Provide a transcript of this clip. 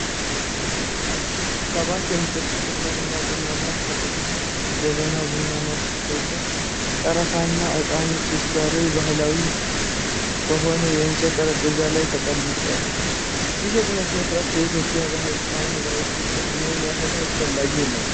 ሰባት የሚደርሱ ጥቁር ቡና ከጥቁር የጀበና ቡና ማፍሰሻ፣ ቀረፋና ዕጣን ጭስ ጋር ባሕላዊ በሆነ የእንጨት ጠረጴዛ ላይ ተቀምጧል። ይህ የቡና ሥነ ሥርዓት ለኢትዮጵያውያን ባህልና ማኅበራዊ ትስስር ምን ያህል አስፈላጊ ነው?